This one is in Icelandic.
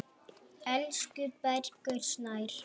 Elsku Bergur Snær.